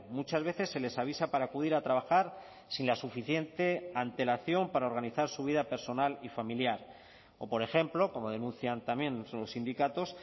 muchas veces se les avisa para acudir a trabajar sin la suficiente antelación para organizar su vida personal y familiar o por ejemplo como denuncian también los sindicatos